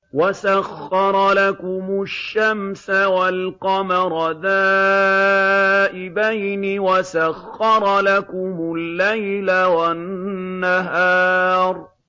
وَسَخَّرَ لَكُمُ الشَّمْسَ وَالْقَمَرَ دَائِبَيْنِ ۖ وَسَخَّرَ لَكُمُ اللَّيْلَ وَالنَّهَارَ